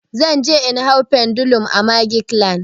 Zan je in hau pendulum a magic land.